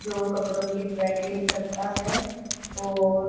जो कपड़ों की ड्राई क्लीन करता है और--